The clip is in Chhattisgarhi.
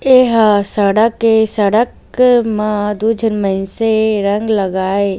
एहर सड़क ए सड़क म दु झन मइन्से रंग लगाए ।